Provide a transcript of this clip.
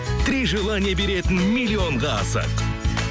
три желание беретін миллионға асық